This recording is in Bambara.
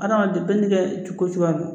Adamaden bɛɛ n'i ka c ko cogoya don.